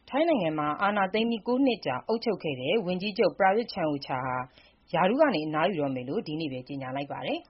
ထိုင်းနိုင်ငံမှာ အာဏာသိမ်းပြီး ၉ နှစ်ကြာ အုပ်ချုပ်ခဲ့တဲ့ ဝန်ကြီးချုပ် ပရာယွတ်ချန်အိုချာ ဟာ ရာထူးက အနားယူတော့မယ်လို့ ဒီနေ့ပဲ ကြေညာလိုက်ပါတယ်